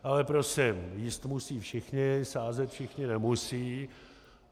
Ale prosím, jíst musí všichni, sázet všichni nemusí.